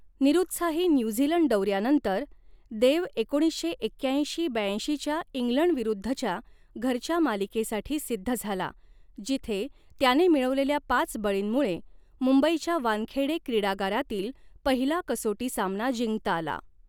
निरुत्साही न्यूझीलंड दौऱ्यानंतर, देव एकोणीसशे एक्याऐंशी ब्याऐंशीच्या इंग्लंडविरुद्धच्या घरच्या मालिकेसाठी सिद्ध झाला, जिथे त्याने मिळवलेल्या पाच बळींमुळे मुंबईच्या वानखेडे क्रीडागारातील पहिला कसोटी सामना जिंकता आला.